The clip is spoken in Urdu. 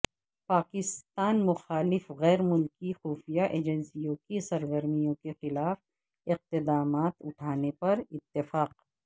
پاکستان مخالف غیر ملکی خفیہ ایجنسیوں کی سرگرمیوں کے خلاف اقدامات اٹھانے پر اتفاق